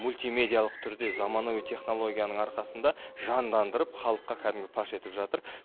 мультимедиялық түрде заманауи технологияның арқасында жандандырып халыққа кәдімгідей паш етіп жатыр